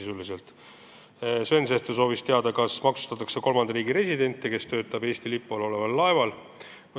Sven Sester soovis teada, kuidas maksustatakse kolmanda riigi residenti, kes töötab Eesti lipu all oleval laeval.